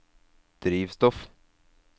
drivstoff